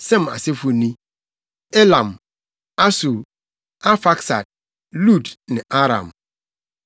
Sem asefo ni: Elam, Asur, + 10.22 Asur yɛ Asiria tete din. Arfaksad, Lud ne Aram.